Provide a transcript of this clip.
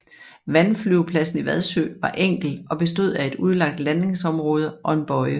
Vandflyvepladsen i Vadsø var enkel og bestod af et udlagt landingsområde og en bøje